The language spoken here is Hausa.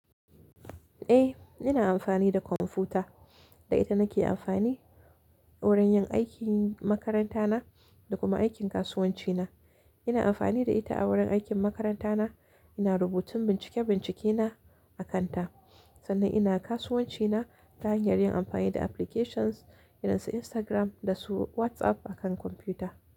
Eh, ina amfani da kwamfuta. Da ita nake amfani wurin yin aikin makaranta na da kuma aikin kasuwanci na. Ina amfani da ita a wurin aikin makaranta na, ina rubutun bincike-bincike na a kanta. Sannan ina kasuwanci na ta hanyar yin amfani da applications irin su Instagram da su WhatsApp a kan kwamfuta.